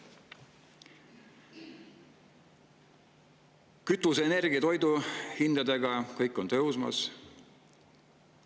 Kütusehinnad, energiahinnad, toiduhinnad – kõik on tõusmas.